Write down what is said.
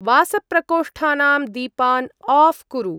वासप्रकोष्ठानां दीपान् आफ़् कुरु।